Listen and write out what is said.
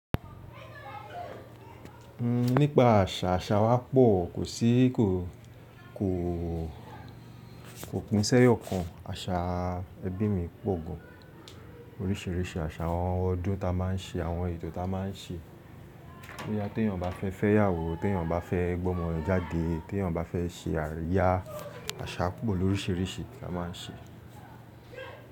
Nípa àṣà, àṣà wa pọ̀, kò sí kí o kò pín sẹ́yọ̀ kan. Àṣà ẹbí mi pọ̀ gan, oríṣìíríṣìí àṣà, àwọn ọdún ta máa ń ṣe, àwọn ètò ta máa ń ṣe. Pé yá tí èyàn bá fẹ́ fẹ́ ìyàwó, tí èyàn bá fẹ́ gbó ọmọ rẹ̀ jáde, tí èyàn bá fẹ́ ṣe àríyá, àṣà pọ̀ ló ríṣìíríṣìí ta máa ń ṣe.